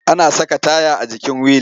Ana saka taya a jikin wili.